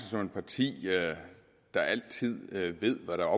som et parti der altid ved hvad der